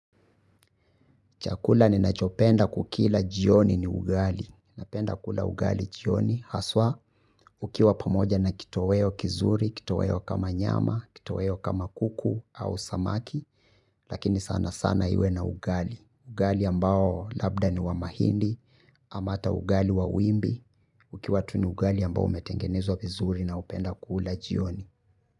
Chakula ninachopenda kukila jioni ni ugali. Napenda kula ugali jioni. Haswa, ukiwa pamoja na kitoweo kizuri, kitoweo kama nyama, kitoweo kama kuku au samaki, lakini sana sana iwe na ugali. Ugali ambao labda ni wa mahindi, ama hata ugali wa wimbi. Ukiwa tu ni ugali ambao umetengenezwa vizuri naupenda kula jioni.